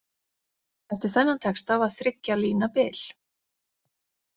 Eftir þennan texta var þriggja lína bil.